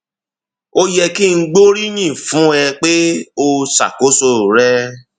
ó yẹ kí n gbóríyìn fún ẹ pé o ṣàkóso rẹ